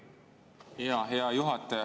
Hea juhataja!